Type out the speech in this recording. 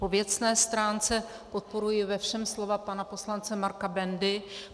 Po věcné stránce podporuji ve všem slova pana poslance Marka Bendy.